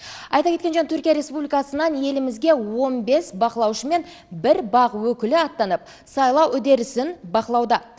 айта кеткен жөн түркия республикасынан елімізге он бес байқаушы мен бір бақ өкілі аттанып сайлау үдерісін бақылауда